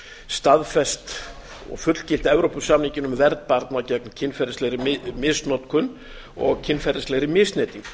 staðfest og fullgilt evrópusamninginn um vernd barna gegn kynferðislegri misnotkun og kynferðislegri misneytingu